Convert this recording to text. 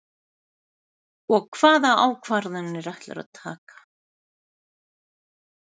Og hvaða ákvarðanir ætlarðu að taka?